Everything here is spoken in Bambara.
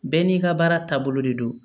Bɛɛ n'i ka baara taabolo de don